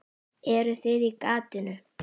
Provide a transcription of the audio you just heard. Eruð þið í gatinu?